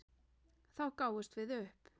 Þá gáfumst við upp.